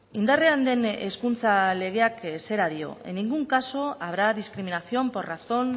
indarrean den hezkuntza legeak zera dio en ningún caso habrá discriminación por razón